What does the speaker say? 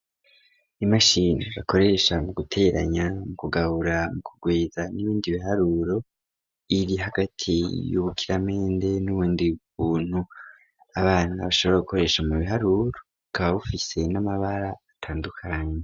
Imashini bakoresha mu guteranya, kugabura, kugwiza n'ibindi biharuro, iri hagati y'ubukiramende, n'ubundi buntu abana bashobora gukoresha mu biharuro bukaba bufise n'amabara atandukanye.